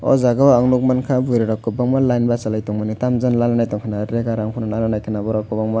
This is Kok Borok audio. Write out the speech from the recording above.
o jaga o ang nog mankha burui rok kwbangma line bachalai tongmani tamjani nananai tongkhana rega rang phano nananaikhwna borok kwbangma.